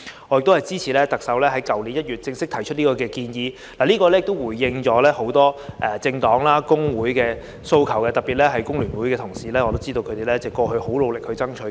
我們支持特首在去年1月正式提出這項建議，因為這項建議回應了很多政黨和工會的訴求，特別是對於工聯會的同事，我也知道他們過去很努力爭取。